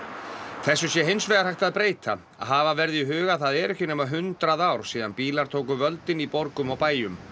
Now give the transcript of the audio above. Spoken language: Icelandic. þessu sé hins vegar hægt að breyta hafa verði í huga að það eru ekki nema hundrað ár síðan bílar tóku völdin í borgum og bæjum